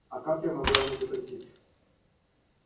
а как я могла ему запретить